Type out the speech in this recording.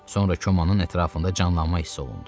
Sonra Komanın ətrafında canlanma hiss olundu.